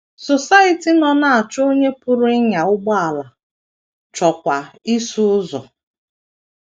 Society nọ na - achọ onye pụrụ ịnya ụgbọala, chọọkwa ịsụ ụzọ.